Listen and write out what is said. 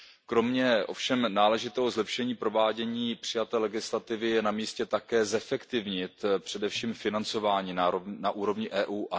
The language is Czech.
Kromě ovšem náležitého zlepšení provádění přijaté legislativy je na místě také zefektivnit především financování na úrovni EU.